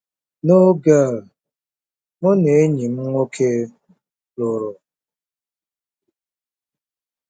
N'oge a, mụ na enyi m nwoke lụrụ.